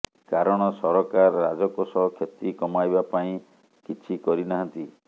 କାରଣ ସରକାର ରାଜକୋଷ କ୍ଷତି କମାଇବା ପାଇଁ କିଛି କରି ନାହାନ୍ତି